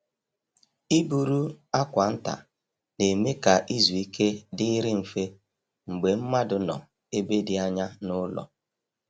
Ịburu akwa nta na-eme ka izu ike dịrị mfe mgbe mmadụ nọ ebe dị anya n’ụlọ.